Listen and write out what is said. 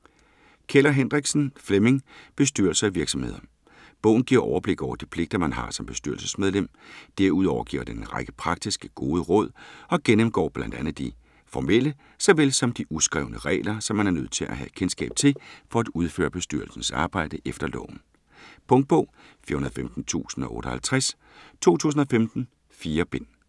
Keller Hendriksen, Flemming: Bestyrelser i virksomheder Bogen giver overblik over de pligter, man har som bestyrelsesmedlem. Derudover giver den en række praktiske, gode råd og gennemgår bl.a. de formelle såvel som de uskrevne regler, som man er nødt til at have kendskab til for at udføre bestyrelsens arbejde efter loven. Punktbog 415058 2015. 4 bind.